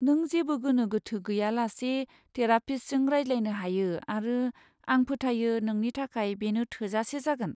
नों जेबो गोनो गोथो गैयालासे थेरापिस्टजों रायज्लायनो हायो आरो आं फोथायो नोंनि थाखाय बेनो थोजासे जागोन।